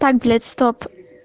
так блять стоп